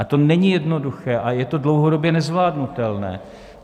Ale to není jednoduché a je to dlouhodobě nezvládnutelné.